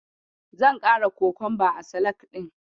Zan ƙara kokonba a salak ɗin.